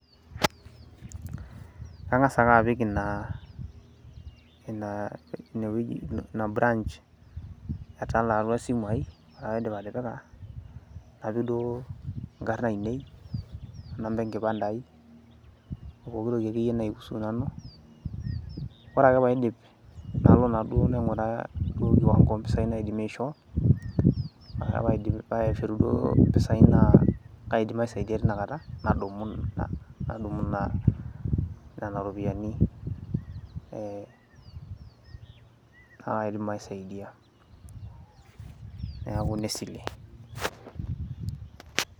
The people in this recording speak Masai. Kang'as ake apik Ina inaa, Ina toki Ina branch etala atua esimu aii ore paidim atipika, napik duo ing'arr ainei, inamba enkipande aii, opooki toki ake iyie naiusu Nanu, ore ake paidip' nalo naaduo naing'uraa enkiwang'o oompisai naidimie aishoo, ore ake paidim paishori duo impisai naa kaidim aisaidia teina Kata nadumu naa Nena ropiyiani ee paa kaidim aisaidia neekui ine sile.